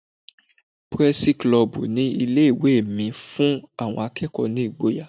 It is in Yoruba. Pírẹ́sí kilọbù ní ilé ìwé mi fún àwọn akẹ́kọ̀ọ́ ní ìgboyà.